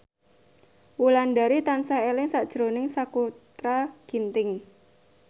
Wulandari tansah eling sakjroning Sakutra Ginting